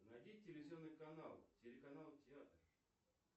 найди телевизионный канал телеканал театр